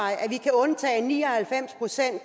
at vi kan undtage ni og halvfems procent af